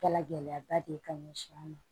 Kɛla gɛlɛyaba de ye ka ɲɛsin an ma